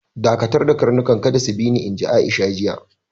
Dakatarda karnukan, kada su bi ni, inji Aisha, jiya.